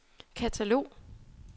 katalog